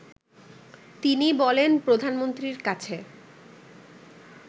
তিনি বলেন প্রধানমন্ত্রীর কাছে